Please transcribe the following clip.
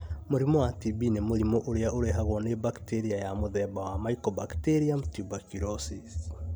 Mũrimũ wa TB nĩ mũrimũ ũrĩa ũrehagwo nĩ bacteria ya mũthemba wa Mycobacterium tuberculosis.